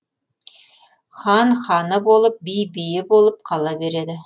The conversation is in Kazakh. хан ханы болып би биі болып қала береді